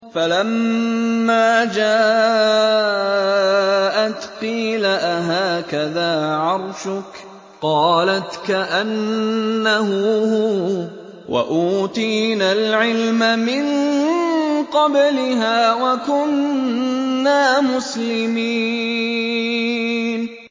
فَلَمَّا جَاءَتْ قِيلَ أَهَٰكَذَا عَرْشُكِ ۖ قَالَتْ كَأَنَّهُ هُوَ ۚ وَأُوتِينَا الْعِلْمَ مِن قَبْلِهَا وَكُنَّا مُسْلِمِينَ